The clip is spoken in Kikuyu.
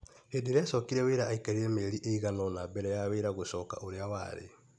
Hĩndĩ ĩrĩa acokire wĩra aikarire mĩeri ĩiganona mbele ya wĩra gũcoka ũrĩa warĩ.